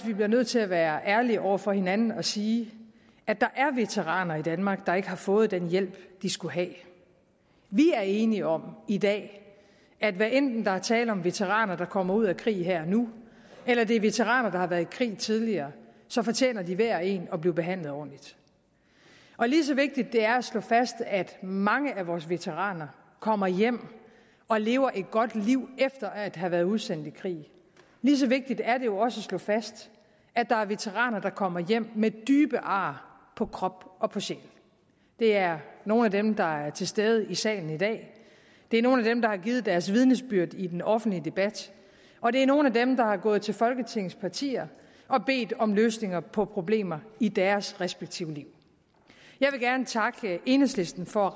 vi bliver nødt til at være ærlige over for hinanden og sige at der er veteraner i danmark der ikke har fået den hjælp de skulle have vi er enige om i dag at hvad enten der er tale om veteraner der kommer ud af krig her og nu eller det er veteraner der har været i krig tidligere fortjener de hver og en at blive behandlet ordentligt og lige så vigtigt det er at slå fast at mange af vores veteraner kommer hjem og lever et godt liv efter at have været udsendt i krig lige så vigtigt er det også at slå fast at der er veteraner der kommer hjem med dybe ar på krop og på sjæl det er nogle af dem der er til stede i salen i dag det er nogle af dem der har givet deres vidnesbyrd i den offentlige debat og det er nogle af dem der er gået til folketingets partier og har bedt om løsninger på problemer i deres respektive liv jeg vil gerne takke enhedslisten for at